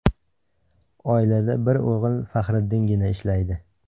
Oilada bir o‘g‘il Faxriddingina ishlaydi.